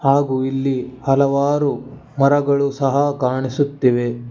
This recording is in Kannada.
ಹಾಗೂ ಇಲ್ಲಿ ಹಲವಾರು ಮರಗಳು ಸಹ ಕಾಣಿಸುತ್ತಿವೆ.